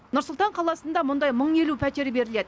нұр сұлтан қаласында мұндай мың елу пәтер беріледі